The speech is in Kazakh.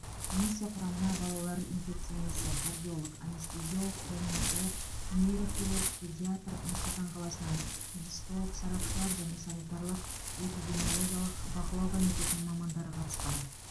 комиссия құрамына балалар инфекционисі кардиолог анестезиолог реаниматолог нейрохирург педиатр нұр сұлтан қаласынан гистолог сарапшылар және санитарлық эпидемиологиялық бақылау комитетінің мамандары қатысқан